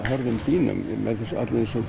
hörðum dýnum og með öllum þessum